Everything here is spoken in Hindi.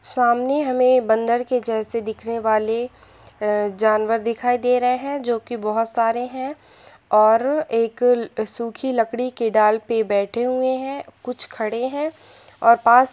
सामने हमे बंदर के जेसे दिखने वाले जानवर दिखाई दे रहे है जो कि बहोत सारे है ओर एक सुखी लकड़ी के डाल पर बेठे हुए है कुछ खडे हैं और पास--